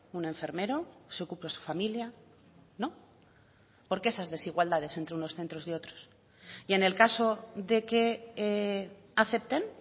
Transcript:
un enfermero se ocupa su familia no por qué esas desigualdades entre unos centros y otros y en el caso de que acepten